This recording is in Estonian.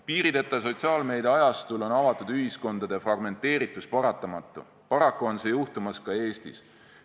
Piirideta sotsiaalmeedia ajastul on avatud ühiskondade fragmenteeritus paratamatu, paraku on see juhtumas ka Eestis.